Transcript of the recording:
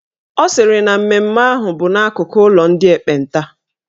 Ọ sịrị na mmemme ahụ bụ n'akụkụ ụlọ ndị ekpenta